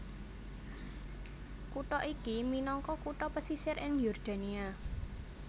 Kutha iki minangka kutha pesisir ing Yordania